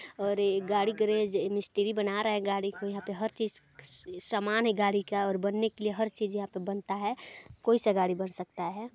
और ये गाड़ी गैरेज ये मिस्री बना रहा हैं गाड़ी को यहाँ पे हर चीज सामान हैं गाडी का बनने के लिए हर चीज यहाँ पे बनता हैं कोइ सा गाडी बन सकता हैं।